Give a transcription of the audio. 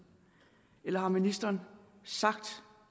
eller har ministeren sagt